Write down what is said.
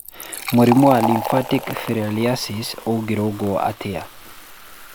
Mũrimũ wa lymphatic filariasis ũngĩrũngwo atĩa?